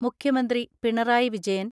മുഖ്യമന്ത്രി പിണറായി വിജയൻ,